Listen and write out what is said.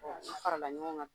o farala ɲɔgɔn kan.